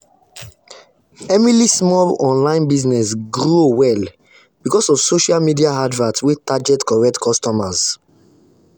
emily small online business grow well because of social media advert wey target correct customers.